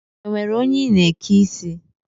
Enwere onye I na-eke ike isi?